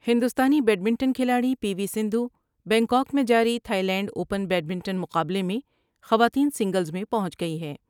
ہندوستانی بیڈمنٹن کھلاڑی P V Sindhu Bangkok میں جاری تھائی لینڈ اوپن بیڈمنٹن مقابلے میں خواتین سنگلز میں پہنچ گئی ہے ۔